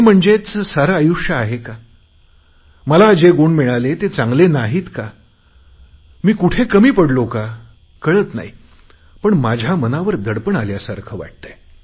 हे म्हणजेच सर्व आयुष्य आहे का मला जे गुण मिळाले ते चांगले नाही आहेत का मी कुठे कमी पडलो का कळत नाही पण माझ्या मनावर दडपण आल्यासारखे वाटते